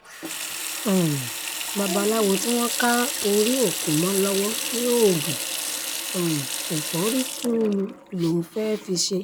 um babaláwo tí wọ́n ká orí òkú mọ́ lọ́wọ́ ní oògùn um ẹ̀fọ́rí-tùùlù lòún fẹ́ẹ́ fi í ṣe